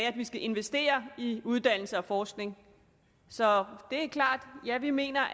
at vi skal investere i uddannelse og forskning så det er klart at ja vi mener